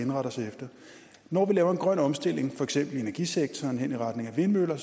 indrette os efter når vi laver en grøn omstilling for eksempel i energisektoren hen i retning af vindmøller